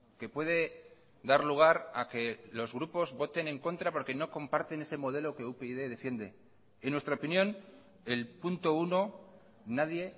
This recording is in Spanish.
que puede dar lugar a que los grupos voten en contra porque no comparten ese modelo que upyd defiende en nuestra opinión el punto uno nadie